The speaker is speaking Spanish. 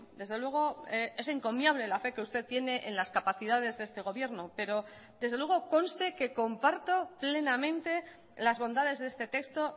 desde luego es encomiable la fe que usted tiene en las capacidades de este gobierno pero desde luego conste que comparto plenamente las bondades de este texto